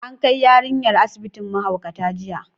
An kai yarinyar asibitin mahaukata jiya.